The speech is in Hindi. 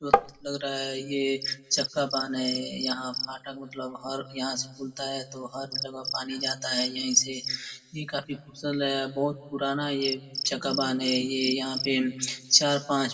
लग रहा ये एक चक्का बाँध है यहाँ फाटक मतलब हर यहाँ से खुलता है तो हर जगह पानी जाता है यहीं से ये काफी खूबसूरत लग रहा है बहुत पुराना ये चक्का बाँध है यहाँ पे चार पांच --